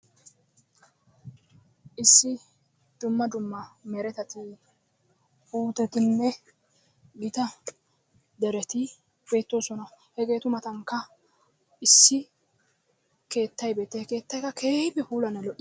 Issi dumma dumma meretati, puutettinne gita dereti beettoosona. Hegeetu mattankka issi keettay betiya keettaykka keehippe puulanne loiyaga.